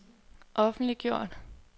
offentliggjort